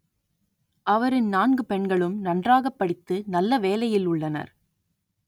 அவரின் நான்கு பெண்களும் நன்றாகப் படித்து நல்ல வேலையில் உள்ளனர்